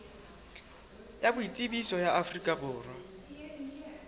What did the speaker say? ya boitsebiso ya afrika borwa